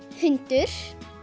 hundur